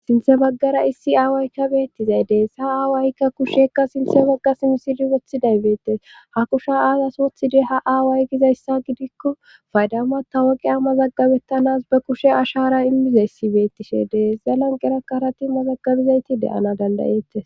sinthe maggara issi aawaykka beettizay dees sa aawaykka kushekka sinthe magga simsidi wothiday beettes ha kusha aazas wothidey ha aaway gizayssa gidikko faydama ta woqi ammazaggabettanas ba kushe ashara immizayssibeettishede zalan qera karati mazaggabizayti deyana dandayette